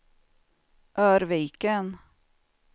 Örviken